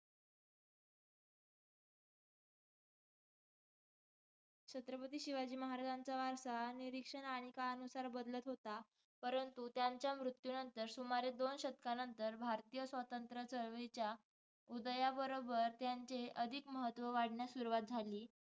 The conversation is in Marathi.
छत्रपती शिवाजी महाराजांचा वारसा निरीक्षण आणि काळानुसार बदलत होता. परंतु त्यांच्या मृत्यूनंतर सुमारे दोन शतकांनंतर, भारतीय स्वातंत्र्य चळवळीच्या उदयाबरोबर त्यांचे अधिक महत्त्व वाढण्यास सुरुवात झाली